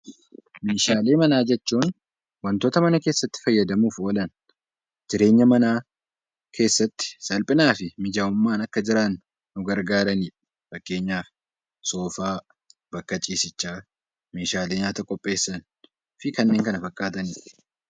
Meeshaalee manaa jechuun wantoota mana keessatti fayyadamuuf oolan jireenya manaa keessatti salphinaa fi mijaa'ummaan Akka jiraannu nu gargaaranidha. Fakkeenyaaf soofaa, bakka ciisichaa, meeshaalee nyaata qopheessan fi kanneen kana fakkaatanidha